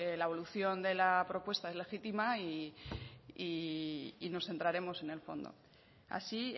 la evolución de la propuesta es legítima y nos centraremos en el fondo así